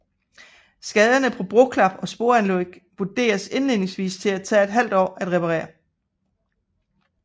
Skaderne på broklap og sporanlæg vurderedes indledningsvis at tage ½ år at reparere